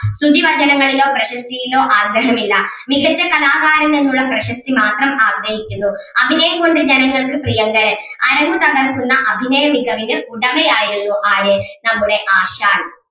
സ്തുതിവചനങ്ങളിലോ പ്രശസ്‌തിയിലോ ആഗ്രഹമില്ല മികച്ച കലാകാരൻ എന്നുള്ള പ്രശസ്‌തി മാത്രം ആഗ്രഹിക്കുന്നു അഭിനയം കൊണ്ട് ജനങ്ങൾക്ക് പ്രിയങ്കരൻ അരങ്ങ് തകർക്കുന്ന അഭിനയമികവിന് ഉടമ ആരുന്നു ആര് നമ്മുടെ ആശാൻ